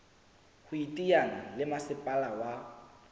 ho iteanya le masepala wa